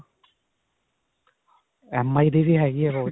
MI ਦੀ ਵੀ ਹੈਗੀ ਹੈ watch.